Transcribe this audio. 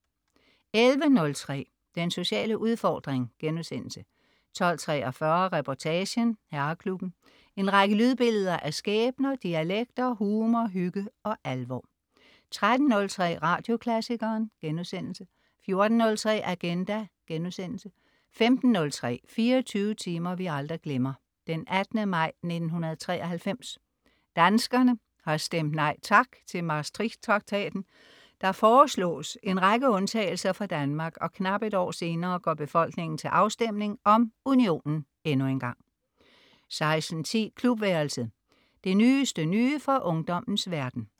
11.03 Den sociale udfordring* 12.43 Reportagen: Herreklubben. En række lydbilleder af skæbner, dialekter, humor, hygge og alvor 13.03 Radioklassikeren* 14.03 Agenda* 15.03 24 timer vi aldrig glemmer: 18. maj 1993. Danskerne har stemt nej tak til Maastrichttraktaten. Der foreslås en række undtagelser for Danmark, og knap et år senere går befolkningen til afstemning om unionen endnu engang 16.10 Klubværelset. Det nyeste nye fra ungdommens verden